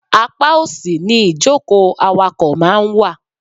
Apá òsì ni ìjókòó awakọ̀ máa ń wà.